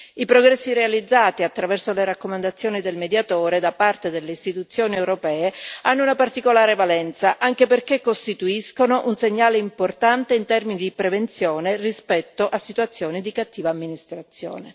I progressi realizzati, attraverso le raccomandazioni del Mediatore, da parte delle istituzioni europee hanno una particolare valenza anche perché costituiscono un segnale importante in termini di prevenzione e rispetto a situazioni di cattiva amministrazione.